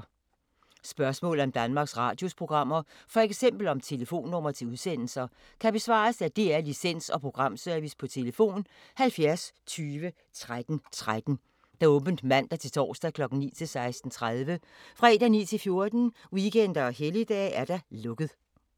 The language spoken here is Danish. Spørgsmål om Danmarks Radios programmer, f.eks. om telefonnumre til udsendelser, kan besvares af DR Licens- og Programservice: tlf. 70 20 13 13, åbent mandag-torsdag 9.00-16.30, fredag 9.00-14.00, weekender og helligdage: lukket.